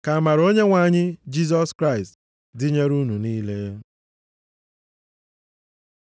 Ka amara Onyenwe anyị Jisọs Kraịst dịnyere unu niile.